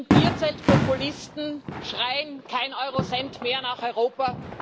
Wenn im Bierzelt Populisten schreien Keinen Eurocent mehr nach Europa!,